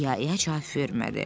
İa-ia cavab vermədi.